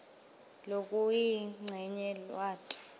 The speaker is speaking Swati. lokuyincenye lwati